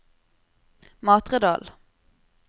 Matredal